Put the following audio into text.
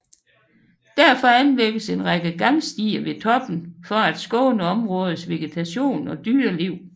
Derfor anlægges en række gangstier ved toppen for at skåne områdets vegetation og dyreliv